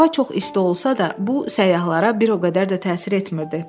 Hava çox isti olsa da, bu səyyahlara bir o qədər də təsir etmirdi.